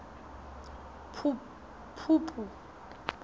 phupu